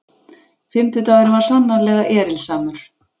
Fimmtudagurinn var sannarlega erilsamur.